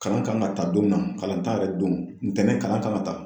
Kalan kan ka ta don min na kalan t'a yɛrɛ don ntɛnɛn kalan kan ka ta